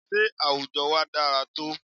Sé àwùjọ wa dára tó?